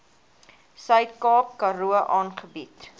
suidkaap karoo aangebied